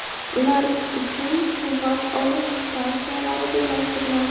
ular uchun quvvat olish stansiyalari joylashtiriladi.